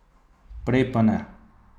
Prej pa ne.